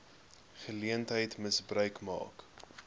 geleentheid gebruik maak